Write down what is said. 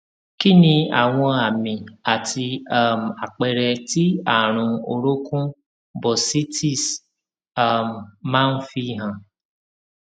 kí ni àwọn àmì àti um àpere tí àrùn orokun bursitis um ma n fi han